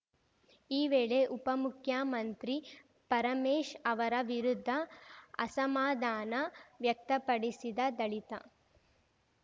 ಈ ವೇಳೆ ಉಪಮುಖ್ಯಮಂತ್ರಿ ಪರಮೇಶ್ ಅವರ ವಿರುದ್ಧ ಅಸಮಾಧಾನ ವ್ಯಕ್ತಪಡಿಸಿದ ದಲಿತ